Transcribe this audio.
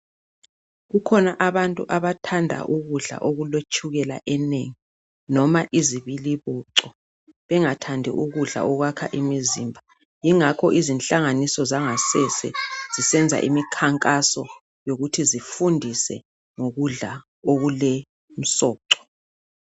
Kukhona bantu abathanda ukudla okuletshukela enengi noma izibiliboco bengathandi ukudla okwakha umizimba. Yingakho izinhlanganiso zangasese zisenza imikhankaso yokuthi zifundise ngokudla okulemsoco.